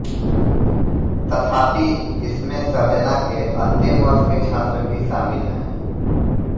तथापि इसमें सर्जना के अंतिम वर्ष के छात्र भी शामिल हैं